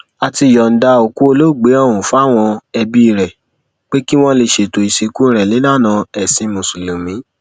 a ti yọǹda òkú olóògbé ọhún fáwọn ẹbí rẹ pé kí wọn lè ṣètò ìsìnkú rẹ nílànà ẹsìn mùsùlùmí